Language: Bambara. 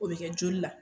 O bɛ kɛ joli la